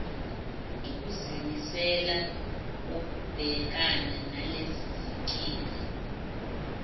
nokuzimisela kokubhekana nalezinkinga